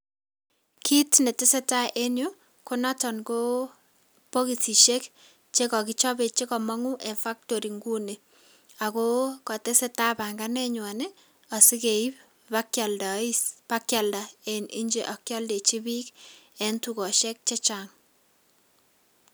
Kiit netesetaa en yuu konoton ko bokisishek che kokichobe che komong'u en factory ing'uni, ak kotesetaa banganenywan asikeib ibakialda en nje ak kioldechi biik en tukoshek chechang.